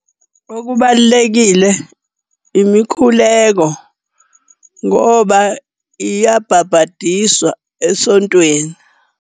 Okubalulekile, imikhuleko ngoba iyabhabhadiswa esontweni.